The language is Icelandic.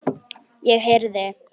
Ég heyrði.